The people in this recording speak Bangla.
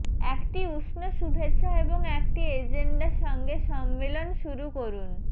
একটি উষ্ণ শুভেচ্ছা এবং একটি এজেন্ডা সঙ্গে সম্মেলন শুরু করুন